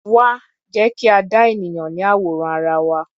Wá, jẹ́ kí a dá ènìyàn ní àwòrán ara wa.